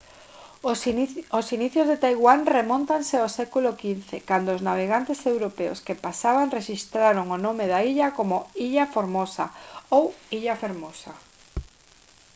os inicios de taiwán remóntanse ao século 15 cando os navegantes europeos que pasaban rexistraron o nome da illa como «ilha formosa» ou illa fermosa